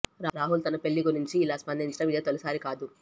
రాహుల్ తన పెళ్లి గురించి ఇలా స్పందించడం ఇదే తొలిసారి కాదు